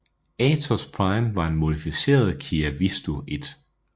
Atos Prime var en modificeret Kia Visto I